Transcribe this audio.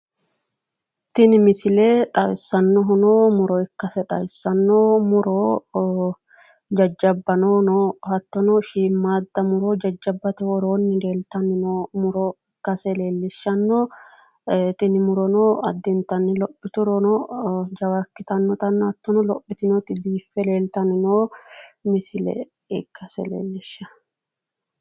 Tini misile xawissanohuno muro ikkase xawissaano, muro ja'jabano no hattono shiimaada muro ja'jabate worooni leelitani no muro ikkase leelishano tini murono addintani lophiturono jawa ikkitanotana ha'tono baxitinoti biiffe leelitani no misile ikasse leelishshano